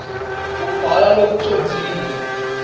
kubhala lokucondzile